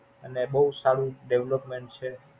અને બોવ સારું Development છે.